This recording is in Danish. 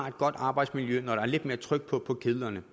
et godt arbejdsmiljø når der er lidt mere tryk på kedlerne